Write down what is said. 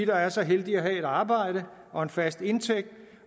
der er så heldige at have et arbejde og en fast indtægt